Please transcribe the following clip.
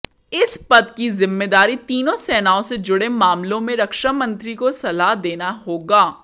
इस पद की जिम्मेदारी तीनों सेनाओं से जुड़े मामलों में रक्षामंत्री को सलाह देना होगा